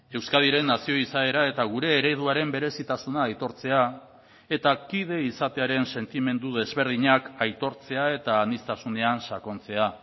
euskadiren nazio izaera eta gure ereduaren berezitasuna aitortzea eta kide izatearen sentimendu desberdinak aitortzea eta aniztasunean sakontzea